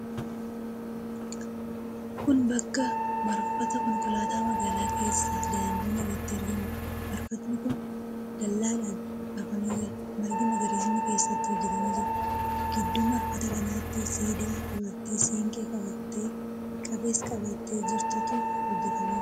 Kun bakka marfata konkolaataa magaalaa keessa daandii irratti argamuudha. Marfatni kun dallaadhaan marfamee jira. Margi magariisni keessatti hojjetamee jira. Gidduu marfata kanaatti siidaa dubartii siinqee qabattee, qabees qabattee jirtutu hojjetamee jira.